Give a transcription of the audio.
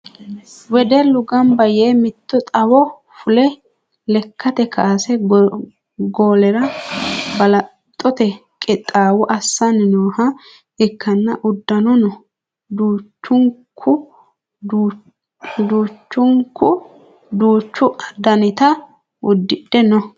Wedellu gambba yee mitto xawo fule lekkate kaase godo'lara balaxote qixxaawo assanni nooha ikkanna uddanono duuchunku duuchu danita udidhe no.